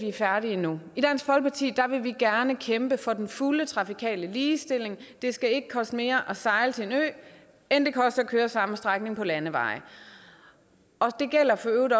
er færdige endnu i dansk folkeparti vil vi gerne kæmpe for den fulde trafikale ligestilling det skal ikke koste mere at sejle til en ø end det koster at køre samme strækning på landeveje det gælder for øvrigt